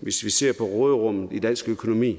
hvis vi ser på råderummet i dansk økonomi